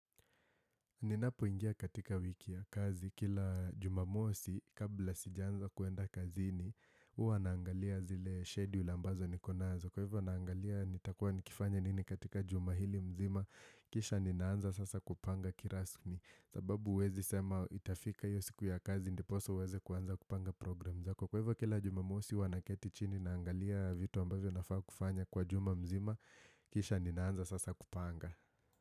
Ninapoingia katika wiki ya kazi kila jumamosi kabla sijaanza kuenda kazini Huwa naangalia zile schedule ambazo nikonazo. Kwa hivyo naangalia nitakua nikifanya nini katika jumahili mzima kisha ninaanza sasa kupanga kirasmi sababu uwezi sema itafika hiyos siku ya kazi ndiposa uweze kuanza kupanga program zako. Kwa hivyo kila jumamosi huwa na keti chini naangalia vitu ambavyo nafaa kufanya kwa jumamzima kisha ninaanza sasa kupanga.